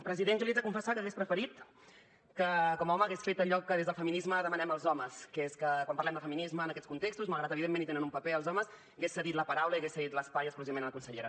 president jo li haig de confessar que hagués preferit que com a home hagués fet allò que des del feminisme demanem als homes que és que quan parlem de feminisme en aquests contextos malgrat evidentment hi tenen un paper els homes hagués cedit la paraula i hagués cedit l’espai exclusivament a la consellera